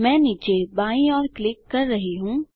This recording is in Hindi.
मैं नीचे बाईं ओर क्लिक कर रहा हूँ